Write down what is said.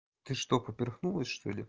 ты что поперхнулась что ли